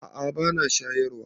A a ba na shayarwa.